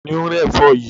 Ta ni ó ń rẹ́ ẹ̀fọ́ yìí?